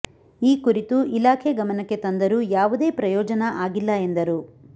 ಈ ಕುರಿತು ಇಲಾಖೆ ಗಮನಕ್ಕೆ ತಂದರೂ ಯಾವುದೇ ಪ್ರಯೋಜನ ಆಗಿಲ್ಲ ಎಂದರು